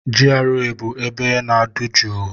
GRA bụ ebe na-adụ jụụ.